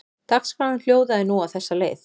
Dagskráin hljóðaði nú á þessa leið